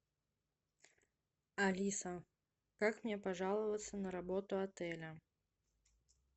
алиса как мне пожаловаться на работу отеля